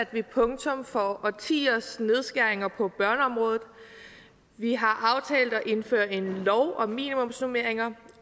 vi punktum for årtiers nedskæringer på børneområdet vi har aftalt at indføre en lov om minimumsnormeringer